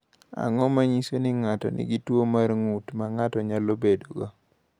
Ang’o ma nyiso ni ng’ato nigi tuwo mar ng’ut ma ng’ato nyalo bedogo?